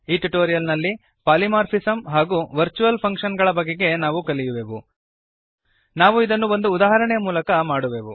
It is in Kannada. ಈ ಟ್ಯುಟೋರಿಯಲ್ ನಲ್ಲಿ ಪಾಲಿಮಾರ್ಫಿಸಮ್ ಹಾಗೂ ವರ್ಚುವಲ್ ಫಂಕ್ಷನ್ ಗಳ ಬಗೆಗೆ ನಾವು ಕಲಿಯುವೆವು ನಾವು ಇದನ್ನು ಒಂದು ಉದಾಹರಣೆಯ ಮೂಲಕ ಮಾಡುವೆವು